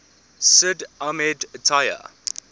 sid ahmed taya